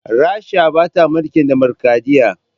Rasha bata mulkin dimukuraɗiyya